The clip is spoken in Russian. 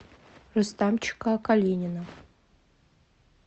рустамчика калинина